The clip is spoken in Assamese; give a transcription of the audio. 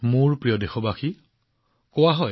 মোৰ মৰমৰ দেশবাসীসকল আমাৰ ইয়াত কোৱা হয়